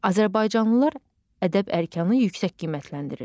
Azərbaycanlılar ədəb-ərkanı yüksək qiymətləndirir.